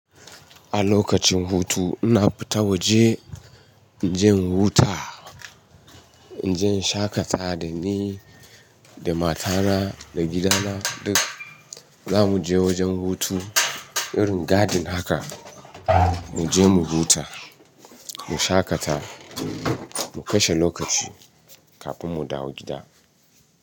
A lokacin hutu ina fita waje. Inje in huta, inje in shaƙata dani, da matana, da gidana duk zamu je wajen hutu irin garden haka. Muje mu huta, mu shaƙata, mu kashe lokaci kafin mu dawo gida.